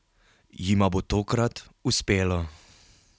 Jima bo tokrat uspelo?